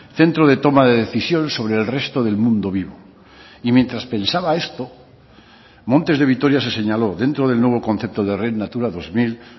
centro de toma de decisión sobre el resto del mundo vivo y mientras pensaba esto montes de vitoria se señaló dentro del nuevo concepto de red natura dos mil